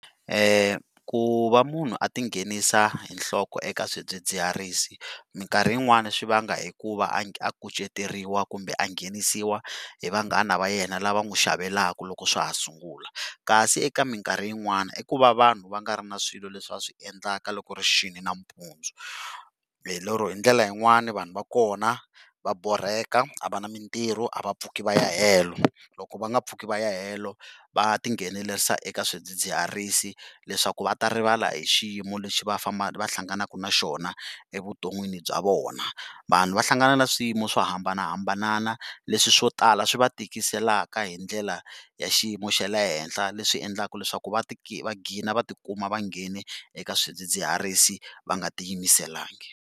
Ku va munhu a ti nghenisa hi nhloko eka swidzidziharisi mikarhi yin'wani swi vanga hi ku va a kuceteriwa kumbe a nghenisiwa hi vanghana va yena lava n'wi xavelaka loko swa ha sungula kasi eka mikarhi yin'wana i ku va vanhu va nga ri na swilo leswi va swi endlaka loko ri xini nampundzu, hi lero hi ndlela yin'wani vanhu va kona va borheka, a va na mitirho, a va pfuki va ya helo, loko va nga pfuki va ya helo v tinghenelerisa eka swidzidziharisi leswaku va ta rivala hi xiyimo lexi va va hlanganaka na xona evuton'wini bya vona, vanhu va hlangana na swiyimo swo hambanahambana leswi swo tala swi va tikiselaka hi ndlela ya xiyimo xa le henhla leswi endlaka leswaku va ti va qgina va ti kuma vanghene eka swidzidziharisi va nga ti yimiselanga.